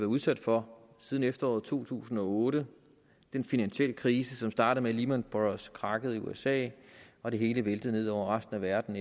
udsat for siden efteråret to tusind og otte den finansielle krise som startede med at lehman brothers krakkede i usa og det hele væltede ned over resten af verden